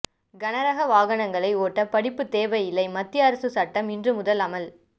கனரக வாகனங்களை ஓட்ட படிப்பு தேவை இல்லை மத்திய அரசு சட்டம் இன்றுமுதல் அமல்